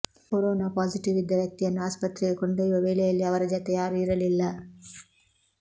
corona positive ಇದ್ದ ವ್ಯಕ್ತಿಯನ್ನು ಆಸ್ಪತ್ರೆಗೆ ಕೊಂಡೊಯ್ಯುವ ವೇಳೆಯಲ್ಲಿ ಅವರ ಜತೆ ಯಾರೂ ಇರಲಿಲ್ಲ